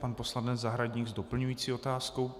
Pan poslanec Zahradník s doplňující otázkou.